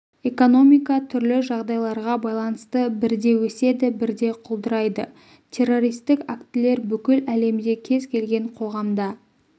экономика түрлі жағдайларға байланысты бірде өседі бірде құлдырайды террористік актілер бүкіл әлемде кез келген қоғамда